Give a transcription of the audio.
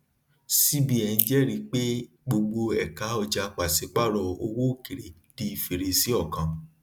cbn jẹrìí pé gbogbo ẹka ọjà pàsípàrọ owó òkèèrè di fèrèsé ọkan